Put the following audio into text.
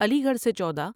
علی گڑھ سے چودہ ۔